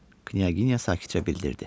Knyaginya sakitcə bildirdi.